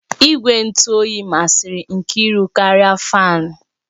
Igwe ntụ oyi masịrị Nkiru karịa fáan